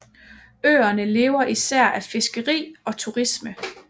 Øerne lever især af fiskeri og turisme